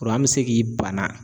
bi se k'i bana